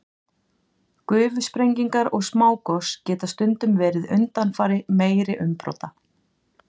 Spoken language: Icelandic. Gufusprengingar og smágos geta stundum verið undanfari meiri umbrota.